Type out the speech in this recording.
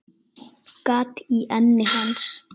Gat í enni hans.